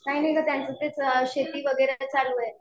काय नाही गं त्यांचं तेच शेती वगैरे चालू आहे.